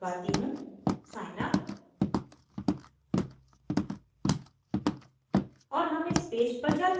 अब मैं इसको दबाती हूँsignup